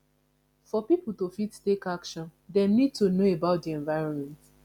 for pipo to fit take action dem need to know about di environment